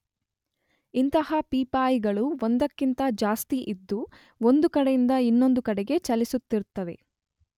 ಇಂಥ ಪೀಪಾಯಿಗಳು ಒಂದಕ್ಕಿಂತ ಜಾಸ್ತಿ ಇದ್ದು ಒಂದು ಕಡೆಯಿಂದ ಇನ್ನೊಂದು ಕಡೆಗೆ ಚಲಿಸುತ್ತಿರುತ್ತವೆ.